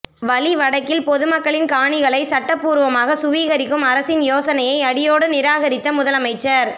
வலி வடக்கில் பொதுமக்களின் காணிகளை சட்டபூர்வமாகச் சுவீகரிக்கும் அரசின் யோசனையை அடியோடு நிராகரித்த முதலமைச்சர்